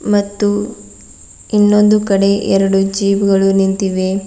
ಮತ್ತು ಇನ್ನೊಂದು ಕಡೆ ಎರಡು ಜೀಪ್ ಗಳು ನಿಂತಿವೆ.